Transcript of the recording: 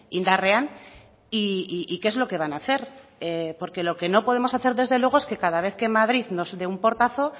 indarrean y qué es lo que van a hacer porque no lo que no podemos hacer desde luego es que cada vez que madrid nos dé un portazo